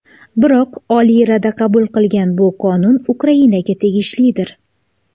Biroq Oliy Rada qabul qilgan bu qonun Ukrainaga tegishlidir.